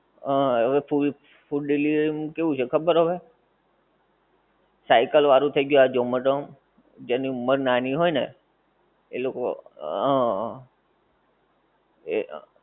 અઃ હવે food delivery નું કેવું છે ખબર હવે? cycle વાળું થઈ ગ્યુ આ ઝોમેટો જેની ઉમર નાની હોય ને એ લોકો હં હં એ